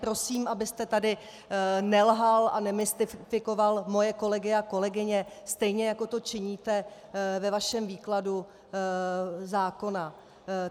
Prosím, abyste tady nelhal a nemystikoval moje kolegy a kolegyně, stejně jako to činíte ve vašem výkladu zákona.